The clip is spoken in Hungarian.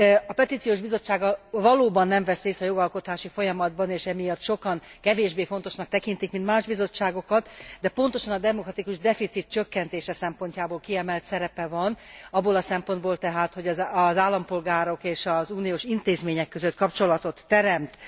A Petíciós Bizottság valóban nem vesz részt a jogalkotási folyamatban és emiatt sokan kevésbé fontosnak tekintik, mint más bizottságokat, de pontosan a demokratikus deficit csökkentése szempontjából kiemelt szerepe van, abból a szempontból tehát, hogy az állampolgárok és az uniós intézmények között kapcsolatot teremt.